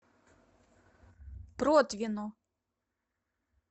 протвино